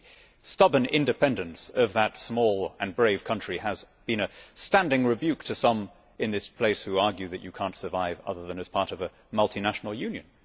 The stubborn independence of that small and brave country has been a standing rebuke to some in this place, who argue that you cannot survive other than as part of a multinational union.